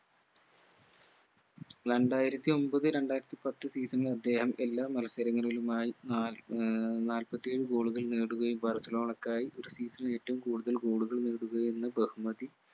രണ്ടായിരത്തിയൊമ്പത് രണ്ടായിരത്തി പത്ത് season ൽ അദ്ദേഹം എല്ലാ മത്സരങ്ങളിലുമായി നാല് ഏർ നാല്പത്തിയേഴ് goal കൾ നേടുകയും ബാഴ്‌സലോണക്കായി ഒരു season ൽ ഏറ്റവും കൂടുതൽ goal കൾ നേടുകയെന്ന ബഹുമതി